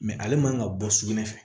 ale man ka bɔ sugunɛ fɛ